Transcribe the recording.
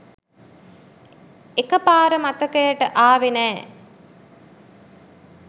එක පාර මතකයට ආවේ නෑ.